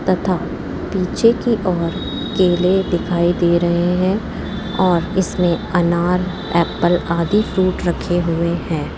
तथा पीछे की ओर केले दिखाई दे रहे हैं और इसमें अनार एप्पल आदि फ्रूट रखे हुए हैं।